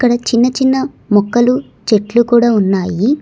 చిన్న చిన్న మొక్కలు చెట్లు కూడా ఉన్నాయి.